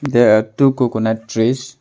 There are two coconut trees.